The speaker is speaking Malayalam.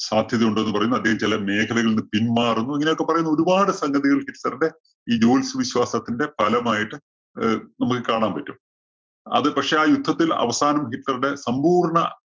സാധ്യത ഉണ്ടെന്ന് പറയുന്നു. അദ്ദേഹം ചെല മേഖലകളില്‍ നിന്ന് പിന്മാറുന്നു. ഇങ്ങനെയൊക്കെ പറയുന്ന ഒരു പാട് സംഗതികള്‍ ഹിറ്റ്‌ലറുടെ ഈ ജ്യോത്സ്യ വിശ്വാസത്തിന്റെ ഫലമായിട്ട്‌ അഹ് നമുക്ക് കാണാന്‍ പറ്റും. അത് പക്ഷേ ആ യുദ്ധത്തില്‍ അവസാനം ഹിറ്റ്ലറുടെ സമ്പൂര്‍ണ്ണ